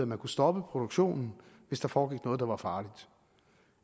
man kunne stoppe produktionen hvis der foregik noget der var farligt